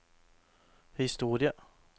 historie